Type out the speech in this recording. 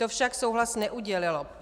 To však souhlas neudělilo.